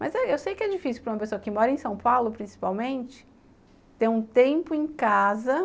Mas eu sei que é difícil para uma pessoa que mora em São Paulo, principalmente, ter um tempo em casa.